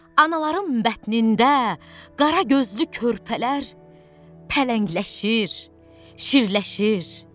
Anaların bətnində qara gözlü körpələr pələngləşir, şirləşir.